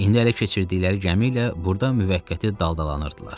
İndi ələ keçirdikləri gəmi ilə burda müvəqqəti daldalanırdılar.